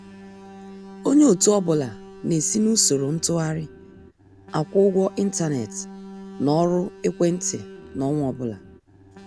Onye ọtụ ọbụla na-esi n'usoro ntụgharị akwụ-ụgwọ intánẹ̀tị na ọrụ ekwéntị n'ọnwa ọbụla.